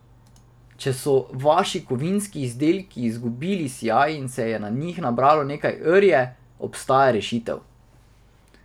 Če so vaši kovinski izdelki izgubili sijaj in se je na njih nabralo nekaj rje, obstaja rešitev.